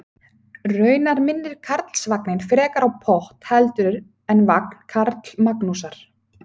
Raunar minnir Karlsvagninn frekar á pott heldur en vagn Karlamagnúsar.